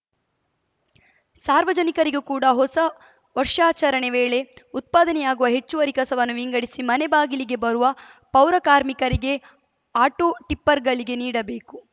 ಸಾರ್ವಜನಿಕರಿಗೂ ಕೂಡ ಹೊಸ ವರ್ಷಾಚರಣೆ ವೇಳೆ ಉತ್ಪಾದನೆಯಾಗುವ ಹೆಚ್ಚುವರಿ ಕಸವನ್ನು ವಿಂಗಡಿಸಿ ಮನೆ ಬಾಗಿಲಿಗೆ ಬರುವ ಪೌರಕಾರ್ಮಿಕರಿಗೆ ಆಟೋ ಟಿಪ್ಪರ್‌ಗಳಿಗೆ ನೀಡಬೇಕು